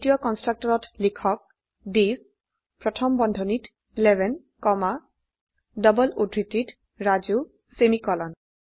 দ্বিতীয় কন্সট্ৰকটৰত লিখকthis প্ৰথম বন্ধনীত 11 কমা ডাবল উদ্ধৃতিত ৰাজু সেমিকোলন